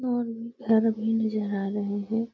और घर भी नजर आ रहे हैं।